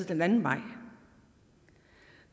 den anden vej